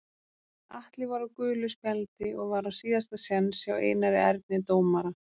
Atli var á gulu spjaldi og var á síðasta séns hjá Einari Erni dómara.